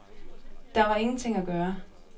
Der var ingenting at gøre.